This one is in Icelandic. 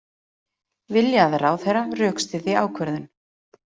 Vilja að ráðherra rökstyðji ákvörðun